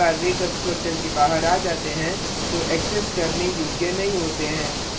लेकिन एक but वे constructor के बाहर आ जाते हैं तो एक्सेस करने योग्य नहीं होते हैं